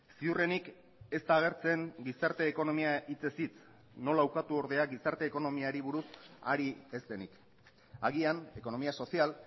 ziurrenik ez da agertzen gizarte ekonomia hitzez hitz nola ukatu ordea gizarte ekonomiari buruz ari ez denik agian economía social